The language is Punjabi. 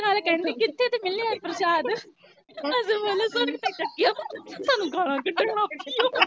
ਸਾਰੇ ਖਹਿੰਦੇ ਕਿੱਥੇ ਤੇ ਮਿਲਿਆ ਪਰਸ਼ਾਦ, ਅਸੀਂ ਬੋਲੇ ਸੜਕ ਤੇ ਚੱਕਿਆ ਸਾਨੂੰ ਗਾਲ੍ਹਾਂ ਕਢਣ ਲਗ ਪਈ